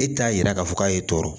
E t'a yira k'a fɔ k'a ye tɔɔrɔ